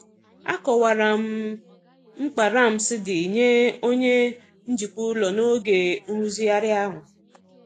Akọwara m mkpa ramps dị nye onye njikwa ụlọ n'oge nrụzigharị ahụ.